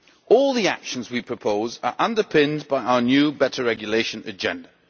All the actions we propose are underpinned by our new better regulation agenda.